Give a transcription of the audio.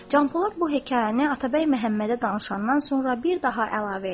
Canpolad bu hekayəni Atabəy Məhəmmədə danışandan sonra bir daha əlavə edir.